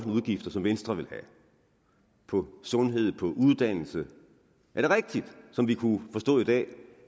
udgifter som venstre vil have på sundhed og på uddannelse er det rigtigt som vi kunne forstå i dag